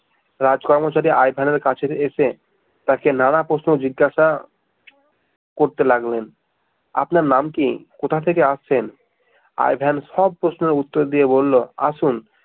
রাজ কর্মচারী আই ভেনের কাছে এসে তাকে নানা প্রশ্ন জিজ্ঞাসা করতে লাগলেন আপনার নাম কি? কোথা থেকে আসছেন? আই ভেন সব প্রশ্নের উত্তর দিয়ে বলল